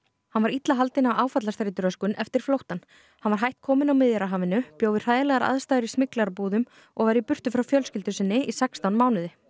hann var illa haldinn af áfallastreituröskun eftir flóttann hann var hætt kominn á Miðjarðarhafinu bjó við hræðilegar aðstæður í og var í burtu frá fjölskyldu sinni í sextán mánuði